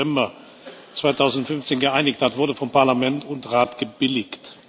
14. November 2015 geeinigt hat, wurde vom Parlament und vom Rat gebilligt.